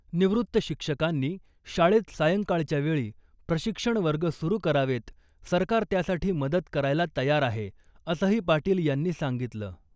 निवृत्त शिक्षकांनी शाळेत सायंकाळच्या वेळी प्रशिक्षण वर्ग सुरू करावेत , सरकार त्यासाठी मदत करायला तयार आहे , असंही पाटील यांनी सांगितलं .